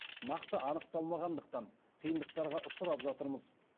нақты анықталмағандықтан қиындықтарға ұшырап жатырмыз